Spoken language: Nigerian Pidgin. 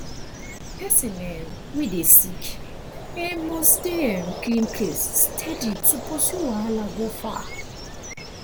person um wey dey sick um must dey um clean place steady to pursue wahala go far